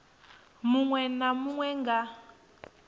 munwe na munwe a nga